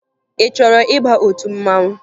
Ị chọrọ ịba otu mmanwụ?